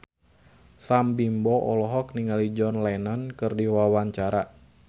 Sam Bimbo olohok ningali John Lennon keur diwawancara